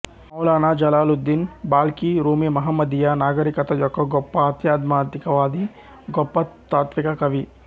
Maulana Jalaluddin Balkhi Rumi మహమ్మదీయ నాగరికత యొక్క గొప్ప ఆధ్యాత్మికవాది గొప్ప తాత్విక కవి